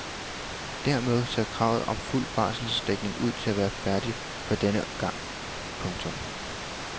Dermed ser kravet om fuld barselsdækning ud til at være færdigt for denne gang. punktum